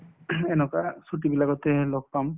এনেকুৱা ছুটীবিলাকতে লগ পাম